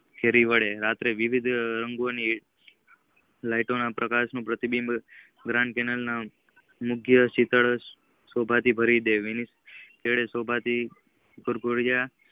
ફરી વળે રાતે વિવિધ અંગો ને લાઈટો ના પ્રકાશ નું પ્રતિબિમ તેમના યોગ્ય શીતળ શોભા ને ભરીદે.